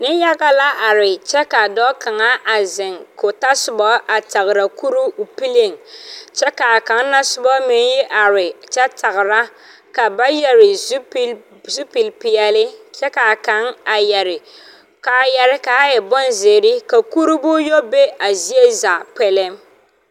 Niŋyaga la are kyɛ ka dɔɔ ziŋ ka o tasobɔ kaŋa a tagra kuroo. Ba su la zupil peɛle kyɛ ka kaŋ su kaayaa naŋ waa ziire kyɛ ka kuree be a zie zaa